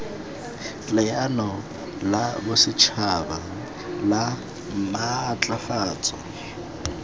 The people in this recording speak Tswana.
leano la bosetšhaba la maatlafatso